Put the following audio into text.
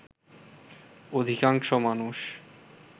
অধিকাংশ মানুষ